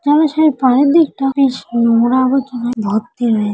চলো সে তোমায় ভর্তি হয়ে